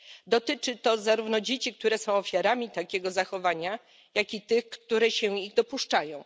Dotyczy to zarówno dzieci, które są ofiarami takiego zachowania, jak i tych, które się go dopuszczają.